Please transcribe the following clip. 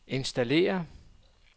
installere